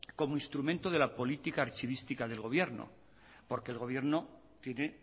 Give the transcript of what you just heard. como instrumento de la política archivística del gobierno porque el gobierno tiene